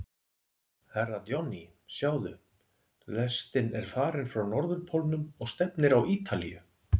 Herra Johnny, sjáðu, lestin er farin frá Norðurpólnum og stefnir á Ítalíu.